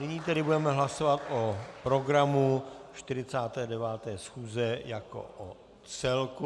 Nyní tedy budeme hlasovat o programu 49. schůze jako o celku.